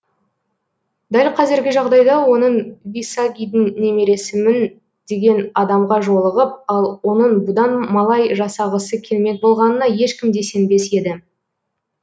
дәл қазіргі жағдайда оның висагидің немересімін деген адамға жолығып ал оның бұдан малай жасағысы келмек болғанына ешкім де сенбес еді